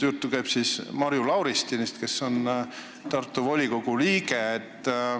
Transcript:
Jutt käib näiteks Marju Lauristinist, kes on Tartu volikogu liige.